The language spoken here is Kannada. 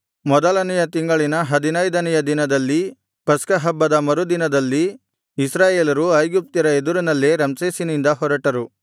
ಮೊದಲನೆಯ ತಿಂಗಳಿನ ಹದಿನೈದನೆಯ ದಿನದಲ್ಲಿ ಪಸ್ಕಹಬ್ಬದ ಮರುದಿನದಲ್ಲಿ ಇಸ್ರಾಯೇಲರು ಐಗುಪ್ತ್ಯರ ಎದುರಿನಲ್ಲೇ ರಮ್ಸೇಸಿನಿಂದ ಹೊರಟರು